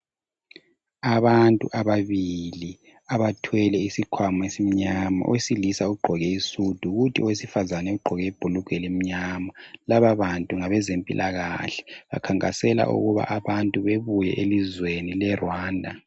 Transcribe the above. Abantu ababili ,abathwele isikhwama esimnyama. Owesilisa ugqoke isudu kuthi owesifazane ugqoke ibhulugwe elimnyama .Laba bantu ngabezempilakahle bankankasela ukuthi abantu babuye elizweni le Rwanda .